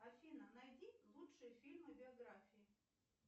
афина найди лучшие фильмы биографии